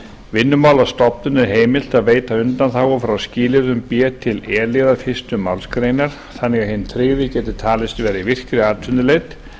vinnumálastofnun er heimilt að veita undanþágu frá skilyrðum b til e liðar fyrstu málsgreinar þannig að hinn tryggði geti talist vera í virkri atvinnuleit